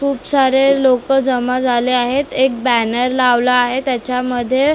खूप सारे लोकं जमा झाले आहेत एक बॅनर लावला आहे त्याच्यामध्ये--